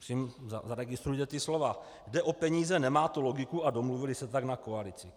Prosím, zaregistrujte ta slova: Jde o peníze, nemá to logiku a domluvili se tak na koalici.